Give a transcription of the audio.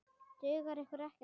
Dugar ykkur ekkert?